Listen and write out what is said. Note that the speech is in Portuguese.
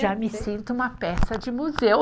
Já me sinto uma peça de museu.